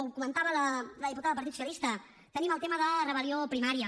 ho comentava la diputada del partit socialista tenim el tema de rebel·lió a primària